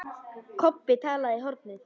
Kobbi talaði í hornið.